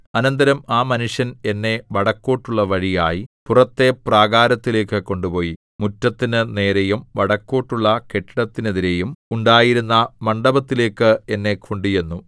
അനന്തരം ആ മനുഷ്യന്‍ എന്നെ വടക്കോട്ടുള്ള വഴിയായി പുറത്തെ പ്രാകാരത്തിലേക്ക് കൊണ്ടുപോയി മുറ്റത്തിനു നേരെയും വടക്കോട്ടുള്ള കെട്ടിടത്തിനെതിരെയും ഉണ്ടായിരുന്ന മണ്ഡപത്തിലേക്ക് എന്നെ കൊണ്ടുചെന്നു